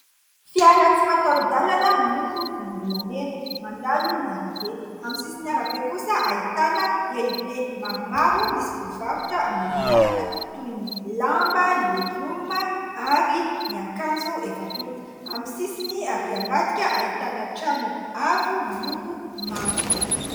Fiara tsy mataho-dalana miloko volombolamena, mandalo ny arabe. Amin'ny sisin'ny arabe kosa ahitana elo be maromaro, misy mpivarotra amoron-dalana : toy ny lamba, ny legioma ary ny akanjo efa tota. Amin'ny sisiny arỳ ambadika, ahitana trano avo miloko mavo.